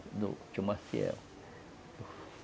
Tinha uma fiel.